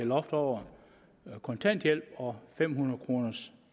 loft over kontanthjælp og fem hundrede kroner